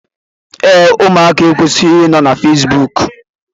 Ee, ụmụaka ekwesighi inọ na Fesbụụk.